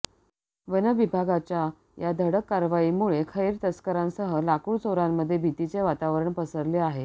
वनविभागाच्या या धडक कारवाईमुळे खैर तस्करांसह लाकूड चोरांमध्ये भीतीचे वातावरण पसरले आहे